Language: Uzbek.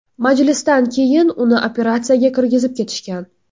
Majlisdan keyin uni operatsiyaga kirgizib ketishgan.